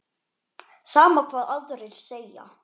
Sama hvað aðrir segja.